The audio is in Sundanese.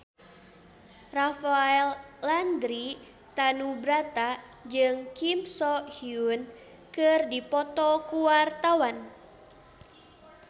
Rafael Landry Tanubrata jeung Kim So Hyun keur dipoto ku wartawan